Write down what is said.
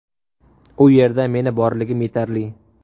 U yerda meni borligim yetarli.